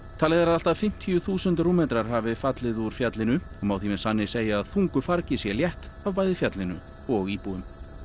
talið er að allt að fimmtíu þúsund rúmmetrar hafi fallið úr fjallinu og má því með sanni segja að þungu fargi sé létt af bæði fjallinu og íbúum